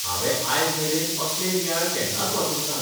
हांवें आयज मेरेन असले नियाळ केन्नाच वाचूंक नात.